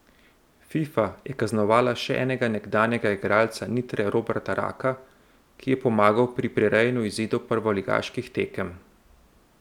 Fifa je kaznovala še enega nekdanjega igralca Nitre Roberta Raka, ki je pomagal pri prirejanju izidov prvoligaških tekem.